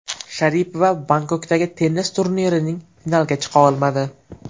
Sharipova Bangkokdagi tennis turnirining finaliga chiqa olmadi.